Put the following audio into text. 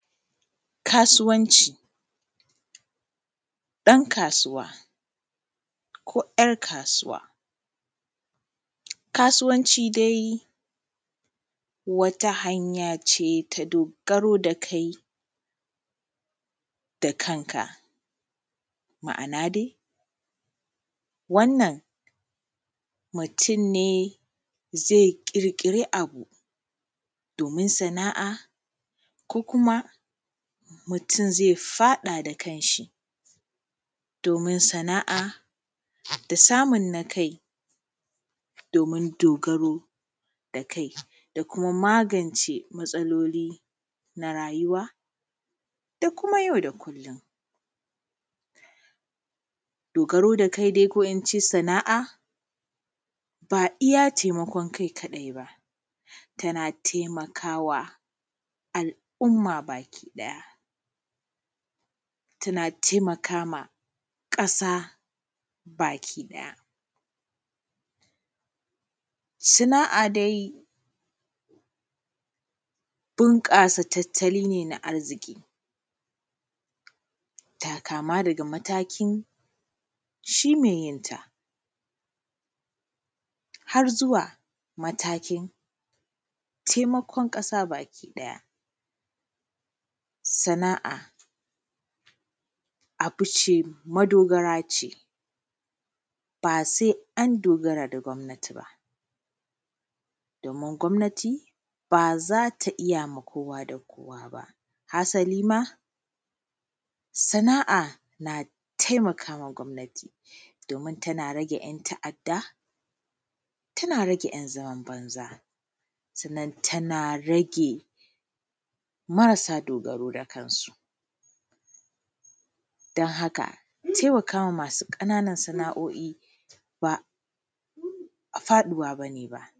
Kasuwanci ɗan kasuwa ‘yar’ kasuwa. Kasuwanci dai wata hanyance ta dogaro ga kai da kanka. Ma’ana dai wannan mutunne zai ƙirƙi abu domin sana’a ko kuma mutun zai faɗa da kanshi domin sana’a da samun na kai domin dogaro da kai da kuma magance matsaloli na rayuwa da kuma yau da kullum. Dogaro da kai dai ko ince Sana’a iyya taimakon kai kaɗai ba tana taimakawa al’umma baki ɗaya tana taimakama ƙasa baki ɗaya. Sana’a dai bunƙasa tattali ne na arziki, kama daga matakin shi mai yenta har zuwa matakin taimakon ƙasa baki ɗaya, sana’a abuce madogarace basai an dogara da gwamnati ba domin gwamnati ba zata iyya ma kowa da kowa ba hasalima sana’a na taimakama gwamanati domin tana rage ‘yan’ ta’adda, tana rage ‘yan’ zaman banza, sannan tana rage marasa dogaro da kansu dan haka taimakama masu ƙananan sana’oi ba faɗuwa bane ba.